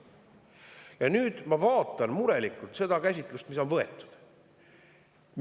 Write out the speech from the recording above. Ja ma vaatan murelikult seda käsitlust, mis on võetud.